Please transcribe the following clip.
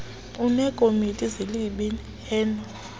aneekomiti zezib heno